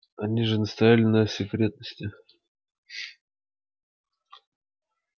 они же настояли на секретности